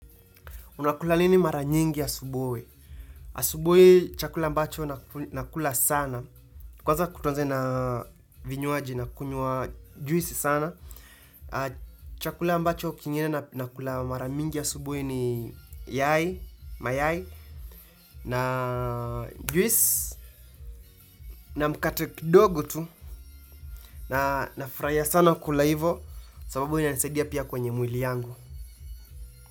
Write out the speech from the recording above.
Unakula nini mara nyingi ya asubuhi? Asubuhi, chakula ambacho nakula sana. Kwanza tuanze na vinywaji nakunywa juisi sana, chakula ambacho kingine nakula mara mingi asubuhi ni yai, mayai, na juisi, na mkate kidogo tu, na nafurahia sana kukula hivo, sababu inanisaidia pia kwenye mwili yangu.